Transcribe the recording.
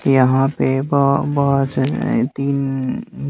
यहां पे ब बस तीन--